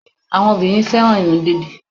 Àwọn obìnrin fẹ́ràn irun dídì